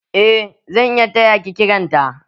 Eh zan iya taya ki kiran ta.